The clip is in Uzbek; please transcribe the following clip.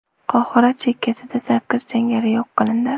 Qohira chekkasida sakkiz jangari yo‘q qilindi.